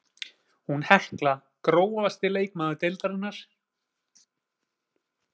Hún Hekla Grófasti leikmaður deildarinnar?